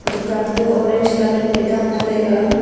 dukan to orange colour phai daala taiga.